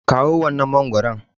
Kaɗo wancan mangwaron!